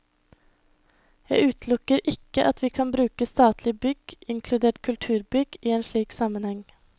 Jeg utelukker ikke at vi kan bruke statlige bygg, inkludert kulturbygg, i en slik sammenheng.